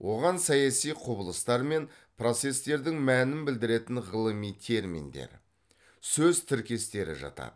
оған саяси құбылыстар мен процестердің мәнін білдіретін ғылыми терминдер сөз тіркестері жатады